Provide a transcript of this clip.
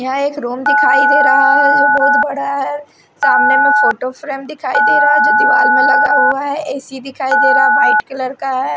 यहां एक रूम दिखाई दे रहा है जो बहुत बड़ा है सामने में फोटो फ्रेम दिखाई दे रहा है जो दिवाल में लगा हुआ है ए_सी दिखाई दे रहा व्हाइट कलर का है।